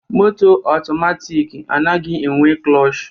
Moto atomatik anaghị enwe klush